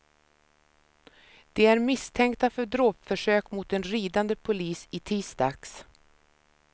De är misstänkta för dråpförsök mot en ridande polis i tisdags.